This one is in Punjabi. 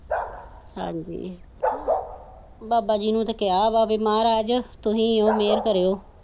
ਹਾਜੀ ਬਾਬਾ ਜੀ ਨੂੰ ਤਾ ਕਹਿਆ ਵਾ ਮਹਾਰਾਜ ਤੁਸੀ ਹੋ ਮਿਹਰ ਕਰਿਓ।